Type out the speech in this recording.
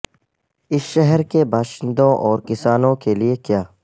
اس شہر کے باشندوں اور کسانوں کے لئے کیا